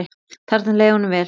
Þarna leið honum vel.